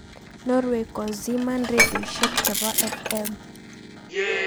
Norway koziman rendioshek chebo FM.